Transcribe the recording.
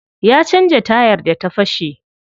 Ya canza tayar da ta fashe.